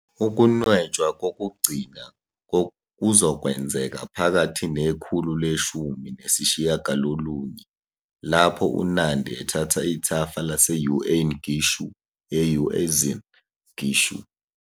Ukunwetshwa kokugcina kuzokwenzeka phakathi nekhulu leshumi nesishiyagalolunye lapho uNandi ethatha ithafa lase-Uain Gishu e- Uasin Gishu.